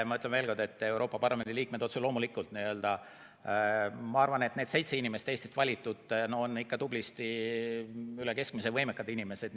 Ma ütlen veel kord, et Euroopa Parlamendi liikmed, need seitse Eestist valitud inimest, on ikka tublisti üle keskmise võimekad inimesed.